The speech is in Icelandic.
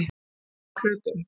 Alltaf á hlaupum.